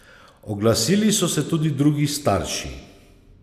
Oglasili so se tudi drugi starši.